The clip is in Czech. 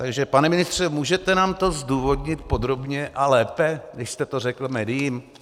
Takže pane ministře, můžete nám to zdůvodnit podrobně a lépe, když jste to řekl médiím?